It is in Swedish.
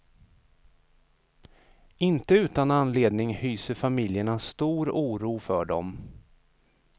Inte utan anledning hyser familjerna stor oro för dem.